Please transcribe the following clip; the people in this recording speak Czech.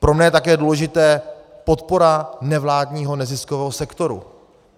Pro mne je také důležité podpora nevládního neziskového sektoru.